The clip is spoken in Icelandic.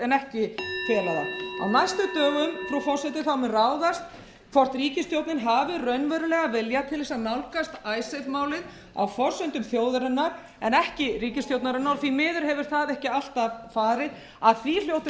en ekki fela það á næstu dögum frú forseti mun ráðast hvort ríkisstjórnin hafi raunverulegan vilja til að nálgast icesave málið á forsendum þjóðarinnar en ekki ríkisstjórnarinnar og því miður hefur það ekki alltaf farið að því hljótum við að vinna